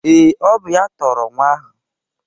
Ee, ọ bụ ya tọrọ nwa ahụ